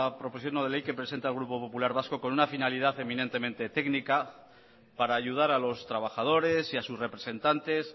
proposición no de ley que presenta el grupo popular vasco con una finalidad eminentemente técnica para ayudar a los trabajadores y a sus representantes